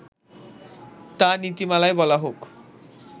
তা নীতিমালায় বলা হোক